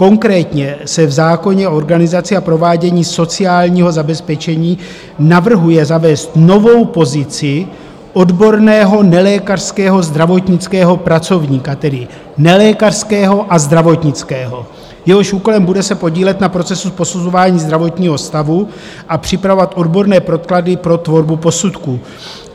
Konkrétně se v zákoně o organizaci a provádění sociálního zabezpečení navrhuje zavést novou pozici odborného nelékařského zdravotnického pracovníka, tedy nelékařského a zdravotnického, jehož úkolem bude se podílet na procesu posuzování zdravotního stavu a připravovat odborné podklady pro tvorbu posudků.